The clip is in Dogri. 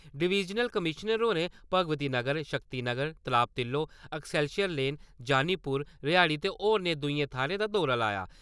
डिविजनल कमीश्नर होरें भगवती नगर, शक्ति नगर, तलाब तिल्लो , ऐक्सैरसर लैन, जानीपुर, रिहाड़ी ते होरने दूइयें थाह्‌रें दा दौरा लाया।